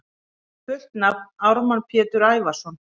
Fullt nafn: Ármann Pétur Ævarsson